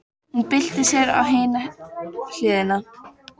Hún byltir sér á hina hliðina.